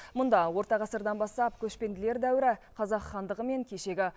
мұнда орта ғасырдан бастап көшпенділер дәуірі қазақ хандығы мен кешегі